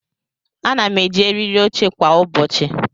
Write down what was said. Ana m eji eriri oche kwa ụbọchị.